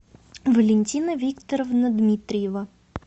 валентина викторовна дмитриева